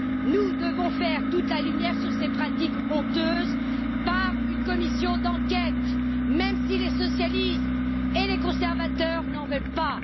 Nous devons faire toute la lumière sur ces pratiques honteuses au moyen d'une commission d'enquête, même si les socialistes et les conservateurs n'en veulent pas.